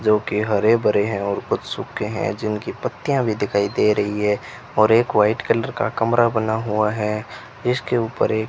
जो कि हरे भरे हैं और कुछ सूखे हैं जिनकी पत्तियां भी दिखाई दे रही है और एक वाइट कलर का कमरा बना हुआ है जिसके ऊपर एक --